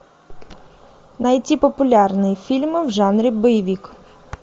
найти популярные фильмы в жанре боевик